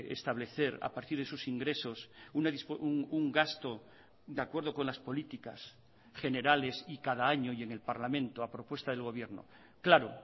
establecer a partir de esos ingresos un gasto de acuerdo con las políticas generales y cada año y en el parlamento a propuesta del gobierno claro